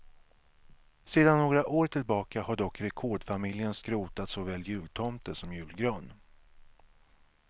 Sedan några år tillbaka har dock rekordfamiljen skrotat såväl jultomte som julgran.